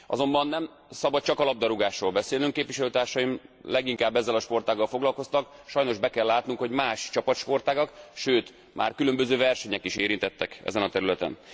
Azonban nem szabad csak a labdarúgásról beszélnünk képviselőtársaim leginkább ezzel a sportággal foglalkoztak sajnos be kell látnunk, hogy más csapatsportágak, sőt már különböző versenyek is érintettek ezen a területen.